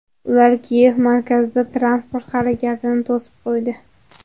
Ular Kiyev markazida transport harakatini to‘sib qo‘ydi.